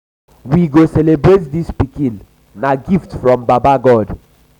we go celebrate dis pikin na gift from baba god.